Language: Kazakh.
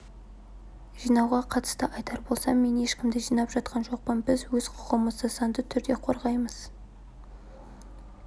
жинауға қатысты айтар болсам мен ешкімді жинап жатқан жоқпын біз өз құқығымызды заңды түрде қорғаймыз